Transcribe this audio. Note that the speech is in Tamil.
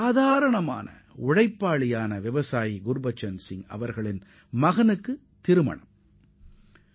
கடுமையாக உழைக்கக் கூடிய அந்த விவசாய சகோதரர் குர்பச்சன் சிங்கின் மகனின் திருமணம் நடைபெறவுள்ளது